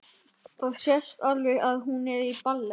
Það sést alveg að hún er í ballett.